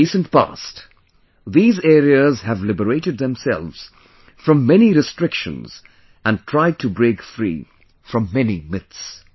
In the recent past, these areas have liberated themselves from many restrictions and tried to break free from many myths